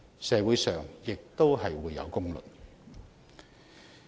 社會亦自有公論。